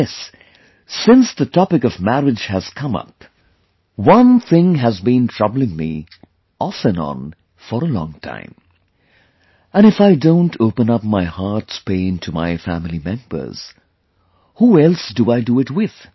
And yes, since the topic of marriage has come up, one thing has been troubling me off and onfor a long time... and if I don't open up my heart's pain to my family members, who else do I do it with